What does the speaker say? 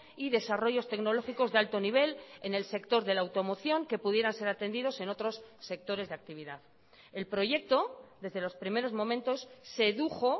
y desarrollos tecnológicos de alto nivel en el sector de la automoción que pudieran ser atendidos en otros sectores de actividad el proyecto desde los primeros momentos sedujo